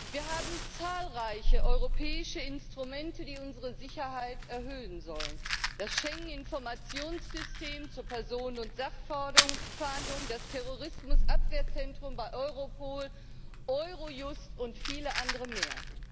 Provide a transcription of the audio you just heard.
Wir haben zahlreiche europäische Instrumente, die unsere Sicherheit erhöhen sollen Das Schengen Informationssystem zur Personen und Sachfahndung, das Terrorismusabwehrzentrum bei Europol, Eurojust und viele andere mehr.